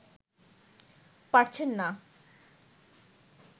পারছেন না